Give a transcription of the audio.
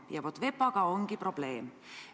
Ja vaat, VEPA-ga ongi probleem.